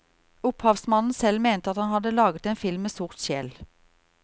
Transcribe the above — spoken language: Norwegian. Opphavsmannen selv mente at han hadde laget en film med sort sjel.